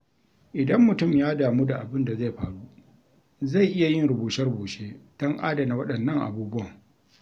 Idan mutum ya damu da abin da zai faru, zai iya yin rubuce-rubuce don adana waɗannan abubuwan.